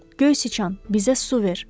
Göy sıçan, bizə su ver!